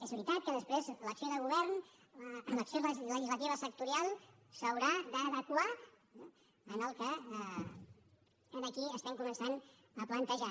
és veritat que després l’acció de govern l’acció legislativa sectorial s’haurà d’adequar en el que aquí comencem a plantejar